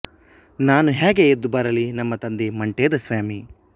ನಾನು ಹ್ಯಾಗೆ ಎದ್ದು ಬರಲಿ ನಮ್ಮ ತಂದೆ ಮಂಟೇದ ಸ್ವಾಮಿ